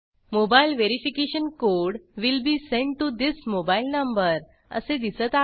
mobile verification code will be sent to this mobile number असे दिसत आहे